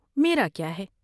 میرا کیا ہے ۔